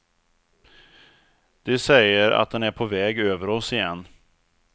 De säger att den är på väg över oss igen.